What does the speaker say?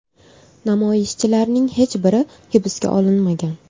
Namoyishchilarning hech biri hibsga olinmagan.